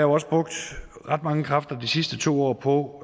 også brugt ret mange kræfter de sidste to år på